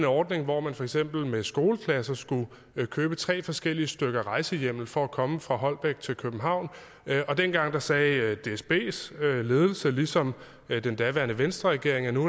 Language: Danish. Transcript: ordning hvor man for eksempel med skoleklasser skulle købe tre forskellige stykker rejsehjemmel for at komme fra holbæk til københavn og dengang sagde dsbs ledelse ligesom den daværende venstreregering at nu